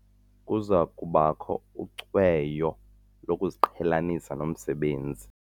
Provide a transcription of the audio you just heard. Kuza kubakho ucweyo lokuziqhelanisa nomsebenzi.